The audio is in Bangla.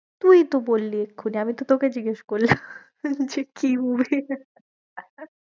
তুইই তো বললি এক্ষুনি আমি তো তোকে জিগেস করলাম যে কি